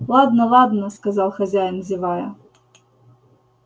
ладно ладно сказал хозяин зевая